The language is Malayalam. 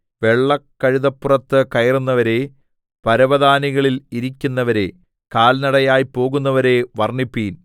വെള്ളക്കഴുതപ്പുറത്ത് കയറുന്നവരേ പരവതാനികളിൽ ഇരിക്കുന്നവരേ കാൽനടയായി പോകുന്നവരേ വർണ്ണിപ്പിൻ